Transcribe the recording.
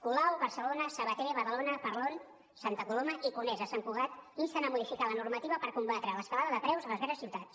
colau barcelona sabater badalona parlon santa coloma i conesa sant cugat insten a modificar la normativa per combatre l’escalada de preus a les grans ciutats